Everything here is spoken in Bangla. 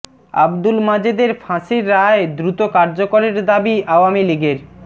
আবদুল মাজেদের ফাঁসির রায় দ্রুত কার্যকরের দাবি আওয়ামী লীগের